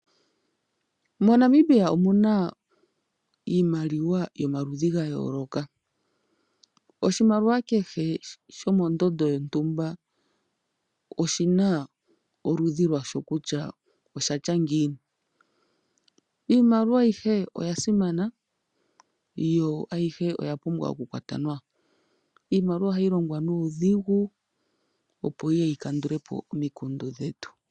MoNamibia omuna iimaliwa yomaludhi gayooloka, oshimaliwa kehe shomondondo yontumba oshina kutya oshatya ngiini. Iimaliwa ayihe oyasimana yo oyapumbwa okukwatwa nawa, iimaliwa ohayi longwa nuudhigu opo yiye yikandulepo omikundu dhetu.